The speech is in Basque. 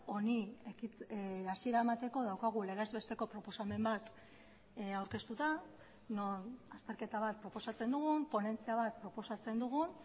honi hasiera emateko daukagu legez besteko proposamen bat aurkeztuta non azterketa bat proposatzen dugun ponentzia bat proposatzen dugun